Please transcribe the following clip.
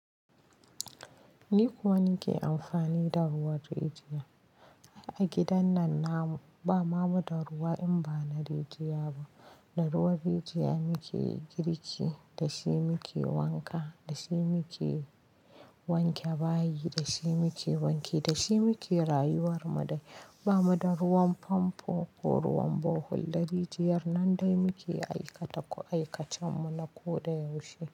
Ni kuwa nake amfani da ruwan rijiya. A gidan nan ba ma mu da ruwa in ba na rijiya ba. Da ruwan rijiya muke girki, da shi muke wanka, da shi muke wanke bayi, da shi muke rayuwar mu. Ba mu da ruwan famfo ko ruwan bohol, da rijiyar nan dai muke aikata aikacen mu na koda yaushe.